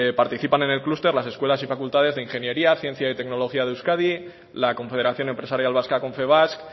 participan en el clúster las escuelas y facultades de ingeniería ciencia y tecnología de euskadi la confederación empresarial vasca confebask